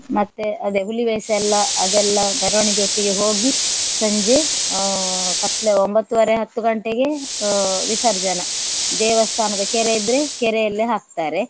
ಮತ್ತೆ ಅದೇ ಹುಲಿವೇಷ ಎಲ್ಲ ಅದೆಲ್ಲ ಮೆರವಣಿಗೆಯೊಟ್ಟಿಗೆ ಹೋಗಿ ಸಂಜೆ ಅಹ್ ಕತ್ಲು ಒಂಬತ್ತೂವರೆ ಹತ್ತು ಗಂಟೆಗೆ ಅಹ್ ವಿಸರ್ಜನ ದೇವಸ್ಥಾನದ ಕೆರೆ ಇದ್ರೆ ಕೆರೆಯಲ್ಲಿ ಹಾಕ್ತಾರೆ.